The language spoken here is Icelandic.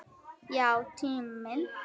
Já, tíminn.